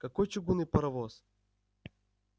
какой чугунный паровоз